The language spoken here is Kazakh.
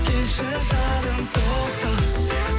келші жаным тоқта